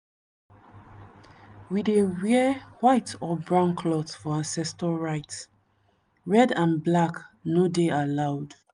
we dey wear white or brown cloth for ancestor rite—red and black no dey allowed.